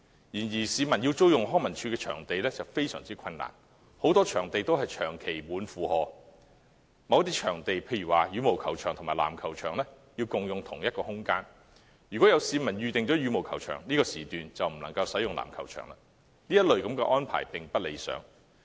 然而，市民要租用康樂及文化事務署的場地非常困難，很多場地長期約滿；某些場地如羽毛球場及籃球場要共用一個場館，如有市民預訂羽毛球場，這個時段籃球場便不能使用，這類安排並不理想。